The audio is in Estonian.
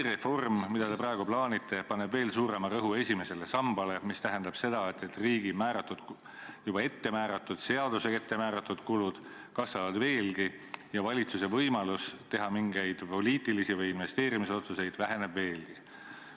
Reform, mida te praegu plaanite, paneb veel suurema rõhu esimesele sambale, mis tähendab seda, et seadusega juba ette määratud kulud kasvavad ja valitsuse võimalus teha mingeid poliitilisi või investeerimisotsuseid väheneb veelgi.